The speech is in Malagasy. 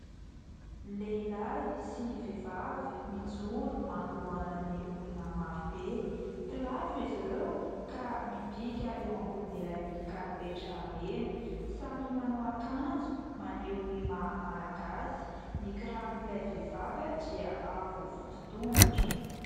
Lehilahy sy vehivavy mijoro manolohana ny olona marobe. Mpilatro izy ireo ka mibika eo ambonin' ilay karipetra mena, samy manao akanjo maneho ny maha malagasy. Ny kiraron'ilay vehivavy dia avo voditongotra.